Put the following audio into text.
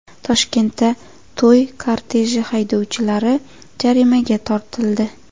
Toshkentda to‘y korteji haydovchilari jarimaga tortildi.